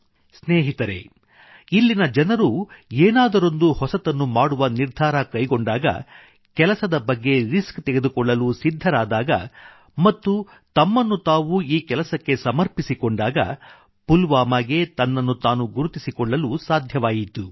ಸ್ನೇಹಿತರೇ ಇಲ್ಲಿನ ಜನರು ಏನಾದರೊಂದು ಹೊಸತನ್ನು ಮಾಡುವ ನಿರ್ಧಾರ ಕೈಗೊಂಡಾಗ ಕೆಲಸದ ರಿಸ್ಕ್ ತೆಗೆದುಕೊಳ್ಳಲು ಸಿದ್ಧರಾದಾಗ ಮತ್ತು ತಮ್ಮನ್ನು ತಾವು ಈ ಕೆಲಸಕ್ಕೆ ಸಮರ್ಪಿಸಿಕೊಂಡಾಗ ಪುಲ್ವಾಮಾಗೆ ತನ್ನನ್ನು ತಾನು ಗುರುತಿಸಿಕೊಳ್ಳಲು ಸಾಧ್ಯವಾಯಿತು